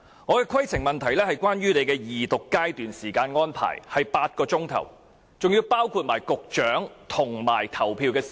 我的規程問題是，你安排二讀階段的時間是8小時，當中包括局長發言及投票時間。